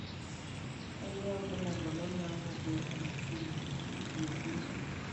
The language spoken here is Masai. Kainyio irbulabul onaapuku eHemophilia eB?